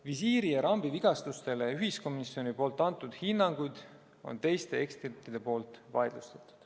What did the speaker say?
Ühiskomisjoni antud hinnangud visiiri ja rambi vigastustele on teiste ekspertide poolt vaidlustatud.